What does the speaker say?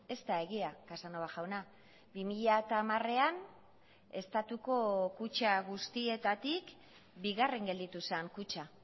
ez da egia casanova jauna bi mila hamarean estatuko kutxa guztietatik bigarren gelditu zen kutxa